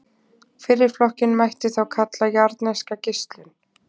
Fyrri flokkinn mætti þá kalla jarðneska geislun.